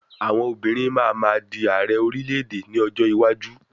Àwọn obìnrin máa ma di Ààrẹ orílẹ̀-èdè ní ọjọ́ iwájú.